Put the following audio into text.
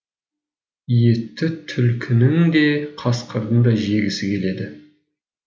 етті түлкінің де қасқырдың да жегісі келеді